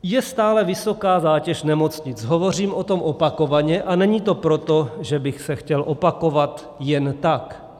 Je stále vysoká zátěž nemocnic, hovořím o tom opakovaně, a není to proto, že bych se chtěl opakovat jen tak.